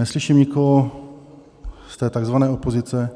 Neslyším nikoho z té takzvané opozice,